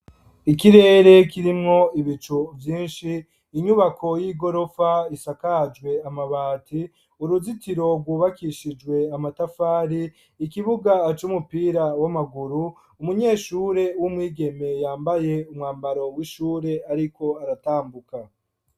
Ikirere kirimwo ibico vyinshi inyubako y'i gorofa isakajwe amabati uruzitiro rwubakishijwe amatafari ikibuga aco umupira w'amaguru umunyeshure w'umwigeme yambaye umwambaro w'ishure, ariko aratambuka.